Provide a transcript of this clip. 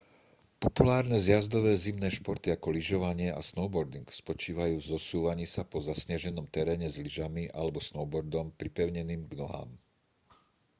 populárne zjazdové zimné športy ako lyžovanie a snowboarding spočívajú v zosúvaní sa po zasneženom teréne s lyžami alebo snowboardom pripevneným k nohám